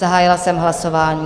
Zahájila jsem hlasování.